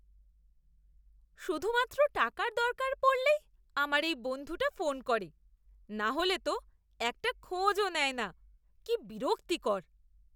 শুধুমাত্র টাকার দরকার পড়লেই আমার এই বন্ধুটা ফোন করে, নাহলে তো একটা খোঁজও নেয় না, কি বিরক্তিকর!